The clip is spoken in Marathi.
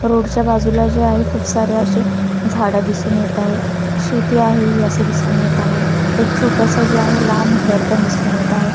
रोड च्या बाजूला जे आहे खूप सारे अशे झाडं दिसून येत आहे शेती आहे ही असं दिसून येत आहे एक छोटासं जे आहे लांब घर पण दिसून येत आहे.